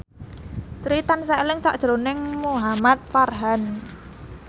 Sri tansah eling sakjroning Muhamad Farhan